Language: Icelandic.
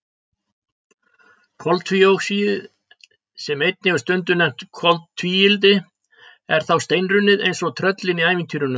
Koltvíoxíðið, sem einnig er stundum nefnt koltvíildi, er þá steinrunnið eins og tröllin í ævintýrunum.